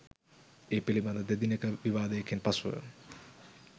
ඒ පිළිබඳ දෙදිනක විවාදයකින් පසුව